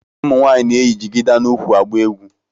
Ụmụ nwaanyị na-eyi jigida n'ukwu. agba egwu.